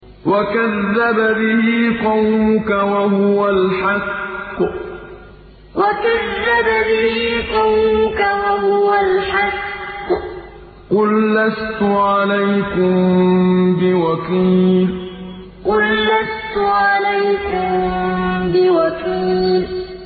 وَكَذَّبَ بِهِ قَوْمُكَ وَهُوَ الْحَقُّ ۚ قُل لَّسْتُ عَلَيْكُم بِوَكِيلٍ وَكَذَّبَ بِهِ قَوْمُكَ وَهُوَ الْحَقُّ ۚ قُل لَّسْتُ عَلَيْكُم بِوَكِيلٍ